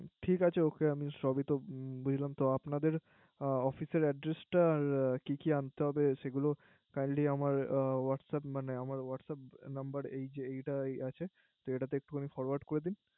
ঠিক আছে। ওকে আমি সবইতো বুঝতে পারলাম। তো আপনাদের Official Adress টা কি কি আনতে হবে সেগুলো Kindly আমার Whatsup মানে Whatsup number এই যে এইটাই আছে একটুখারে Forward করে দিন